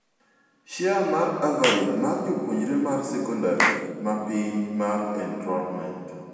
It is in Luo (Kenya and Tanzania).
Share mar coverage mar jopuonjre mar secondary ma piny mar enrollment.